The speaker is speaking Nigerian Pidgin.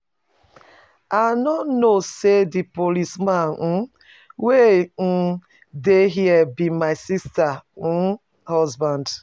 I no know say the policeman um wey um dey here be my sister um husband.